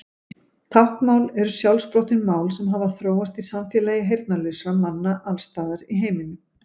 Táknmál eru sjálfsprottin mál sem hafa þróast í samfélagi heyrnarlausra manna alls staðar í heiminum.